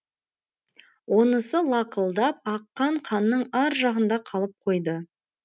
онысы лақылдап аққан қанның ар жағында қалып қойды